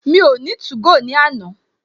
Mi o 2go ní àná